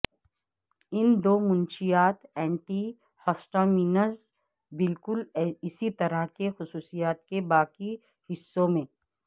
ان دو منشیات antihistamines بالکل اسی طرح کی خصوصیات کے باقی حصوں میں